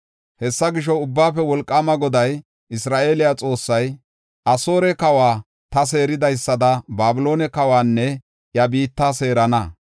Hessa gisho, Ubbaafe Wolqaama Goday, Isra7eele Xoossay, “Asoore kawa ta seeridaysada Babiloone kawanne iya biitta seerana.